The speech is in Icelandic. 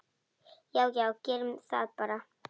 Já já, gerum það bara.